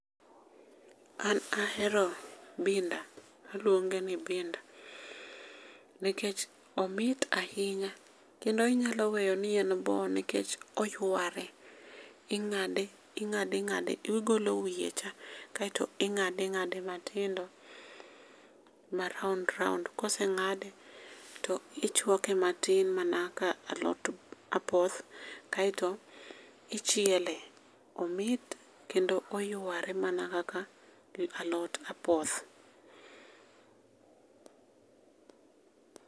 An ahero binda, waluonge ni binda nikech omit ahinya kendo inyalo weyo ni en bo nikech oyware. Ing'ade ing'ade ing'ade, igolo wiyecha kaeto ing'ade ing'ade matindo ma raond raond ka oseng'ade to ichuake matin mana ka alot apoth, to ichiele. Omit kendo oyware mana kaka alot apoth.